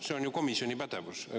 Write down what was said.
See on ju komisjoni pädevus.